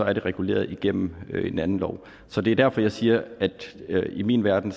er det reguleret igennem en anden lov så det er derfor jeg siger at i min verden